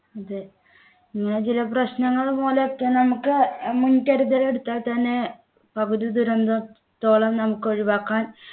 അതെ ഇങ്ങനെ ചില പ്രശ്നങ്ങളും മൂലം ഏറ്റവും നമുക്ക് മുൻകരുതൽ എടുത്താൽ തന്നെ പകുതി ദുരന്തത്തോളം നമുക്ക് ഒഴിവാക്കാൻ